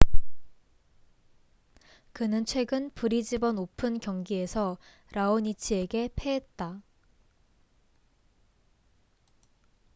그는 최근 브리즈번 오픈brisbane open 경기에서 라오니치raonic에게 패했다